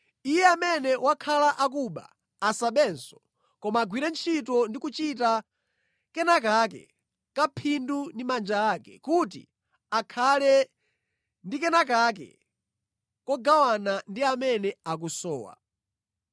Iye amene wakhala akuba asabenso, koma agwire ntchito ndi kuchita kenakake kaphindu ndi manja ake, kuti akhale ndi kenakake kogawana ndi amene akusowa.